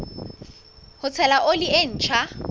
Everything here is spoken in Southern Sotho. ho tshela oli e ntjha